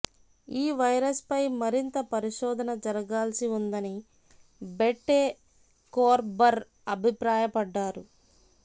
ఈ వైరస్పై మరింత పరిశోధన జరగాల్సి ఉందని బెటె కోర్బర్ అభిప్రాయపడ్డారు